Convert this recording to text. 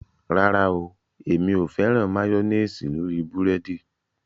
Rárá o èmi ò fẹ́ràn máyọ́néésì lórí búrẹ́dì